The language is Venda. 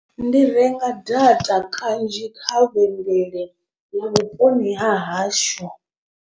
Ndi renga data kanzhi kha vhengele ya vhuponi ha hashu.